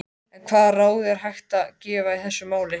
En hvaða ráð er hægt að gefa í þessu máli?